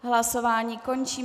Hlasování končím.